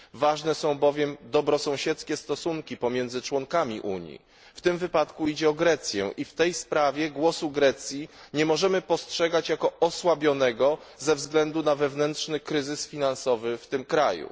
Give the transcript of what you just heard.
Ważne są bowiem dobrosąsiedzkie stosunki pomiędzy członkami Unii. W tym wypadku idzie o Grecję i w tej sprawie głosu Grecji nie możemy postrzegać jako osłabionego ze względu na wewnętrzny kryzys finansowy w tym kraju.